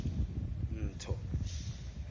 ntho